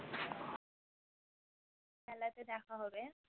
মেলাতে দেখা হবে